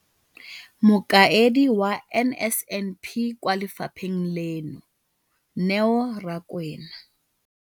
Mokaedi wa NSNP kwa lefapheng leno, Neo Rakwena,